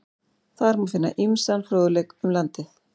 Þar má finna ýmsan fróðleik um landið.